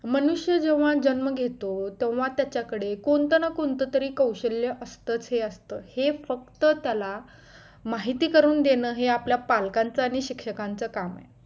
मनुष्य जेव्हा जन्म घेतो तेव्हा त्यांच्याकडे कोणता ना कोणतातरी कौशल्य असतच हे असतं हे फक्त त्याला माहिती करून देणे हे आपल्या पालकांचा आणि शिक्षकांचा काम आहे